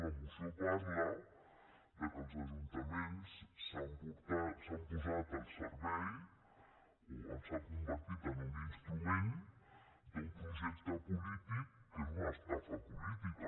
la moció parla que els ajuntaments s’han posat al servei o s’han convertit en un instrument d’un projecte polític que és una estafa política